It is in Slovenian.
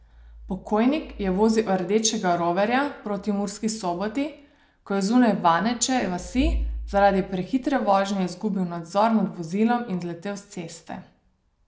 Pokojnik je vozil rdečega roverja proti Murski Soboti, ko je zunaj Vanče vasi zaradi prehitre vožnje izgubil nadzor nad vozilom in zletel s ceste.